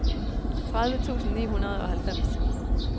tredive tusind ni hundrede og halvfems